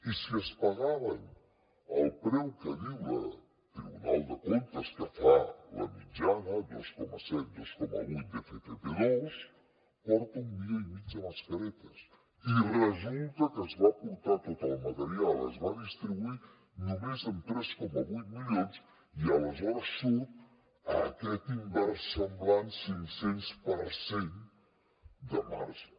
i si es pagaven al preu que diu el tribunal de comptes que fa la mitjana dos coma set dos coma vuit d’ffp2 porta un milió i mig de mascaretes i resulta que es va portar tot el material es va distribuir només amb tres coma vuit milions i aleshores surt aquest inversemblant cinc cents per cent de marge